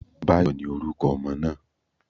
Báyò, ni oruko ọmọ naa